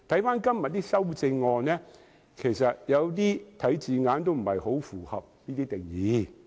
今天的修正案的一些字眼不是很符合這個定義。